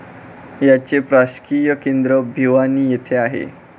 याचे प्रशासकीय केंद्र भिवानी येथे आहे.